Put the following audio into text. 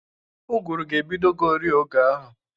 Ụgụrụ ga-ebidogori oge ahụ.